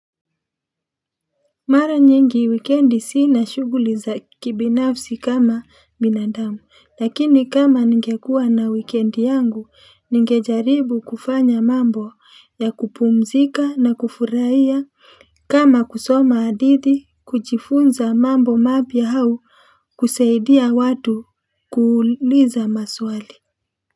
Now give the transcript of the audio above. Mara nyingi wikendi sina shuguli za kibinafsi kama binadamu lakini kama ngekuwa na wikendi yangu ngejaribu kufanya mambo ya kupumzika na kufurahia kama kusoma adithi kuchifunza mambo mapya hau kuseidia watu kuuliza maswali.